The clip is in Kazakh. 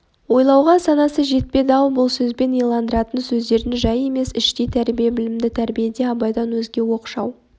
ойлауға санасы жетпеді-ау бұл сөзбен иландыратын сездіретін жай емес іштей тәрбие білімді тәрбиеде абайдан өзге оқшау